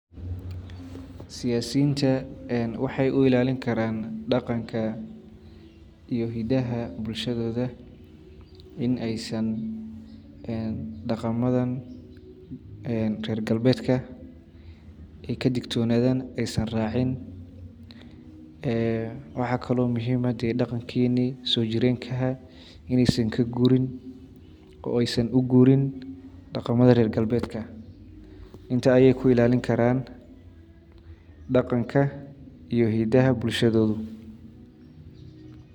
Inaysan dhaqamada reer galbeedka ka dhig dhodan kuwa ay raacayaan oo aysan raacin. Waxa kale oo muhiim ah in dhaqanka soo jireenka ah la ilaaliyo, lagana horreysiiyo dhaqamada reer galbeedka. Intaas ayay ku ilaalin karaan dhaqanka iyo hiddaha bulshadooda.